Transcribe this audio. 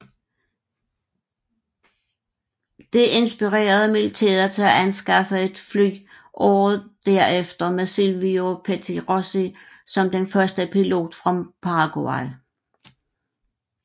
Dette inspirerede militæret til at anskaffe et fly året derefter med Silvio Pettirossi som den første pilot fra Paraguay